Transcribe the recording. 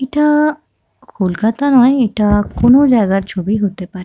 ইটা কলকাতা নয়। এটা অন্য জায়গার ছবি হতে পারে।